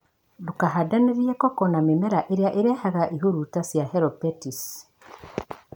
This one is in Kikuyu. Ndũkahandanĩrie koko na mĩmera ĩrĩa ĩrehaga iburuta cia helopeltisi